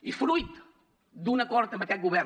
i fruit d’un acord amb aquest govern